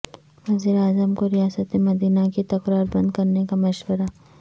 وزیراعظم کو ریاست مدینہ کی تکرار بند کرنے کا مشورہ